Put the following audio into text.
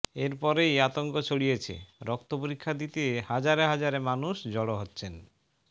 এরপরেই আতঙ্ক ছড়িয়েছে রক্ত পরীক্ষা দিতে হাজারে হাজারে মানুষ জড় হচ্ছেন